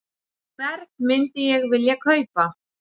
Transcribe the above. Hvern myndi ég vilja kaupa?